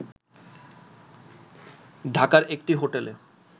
ঢাকার একটি হোটেলে